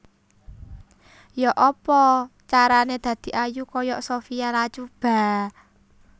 Yok apa carane dadi ayu koyok Sophia Latjuba?